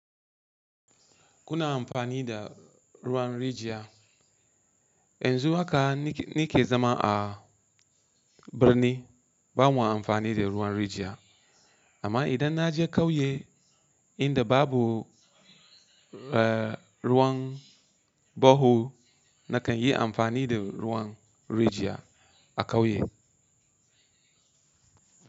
Kuna amfani da ruwan rijiya? Yanzu haka ni ke zama a birni, ba mu yi amfani da ruwan rijiya. Amma idan na je ƙauye inda babu, eh, ruwan baho, na kan yi amfani da ruwan rijiya a ƙauye.